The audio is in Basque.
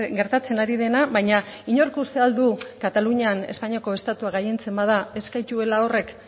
gertatzen ari dena baina inork uste al du katalunian espainiako estatua gailentzen bada ez gaituela horrek